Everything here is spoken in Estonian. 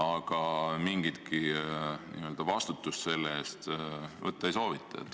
Aga mingitki vastutust selle eest võtta ei soovita.